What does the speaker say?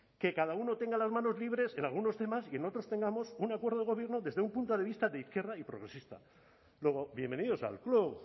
que cada uno tenga las manos libres en algunos temas y en otros tengamos un acuerdo de gobierno desde un punto de vista de izquierda y progresista luego bienvenidos al club